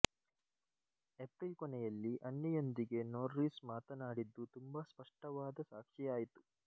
April ಕೊನೆಯಲ್ಲಿ Annie ಯೊಂದಿಗೆ Norris ಮಾತನಾಡಿದ್ದು ತುಂಬಾ ಸ್ಪಷ್ಟವಾದ ಸಾಕ್ಷಿಯಾಯಿತು